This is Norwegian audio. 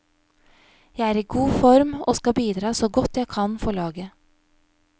Jeg er i god form, og skal bidra så godt jeg kan for laget.